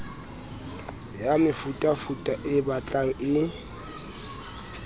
ya mefutafuta e batlang e